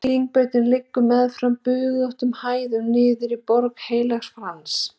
Hraðbrautin liggur meðfram bugðóttum hæðum niður í Borg Heilags Frans.